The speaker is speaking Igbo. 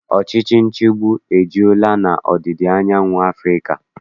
Ọchịchị nchịgbu ejula n'ọdịda anyanwụ Afrịka.